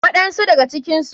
Waɗan su daga cikinsu.